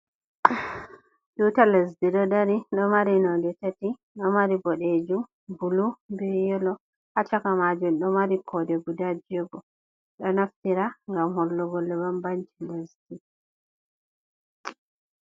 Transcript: Tuta lesdi ɗo dari ɗo mari nolɗe tati ɗo mari bodejum bulu be yelo ha chaka majum do mari kode guda jiyego do naftira ngam hollugo bam banci lesdi.